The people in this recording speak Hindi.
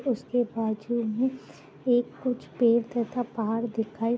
उसके बाज़ू में एक कुछ पेड़ तथा पहाड़ दिखाई --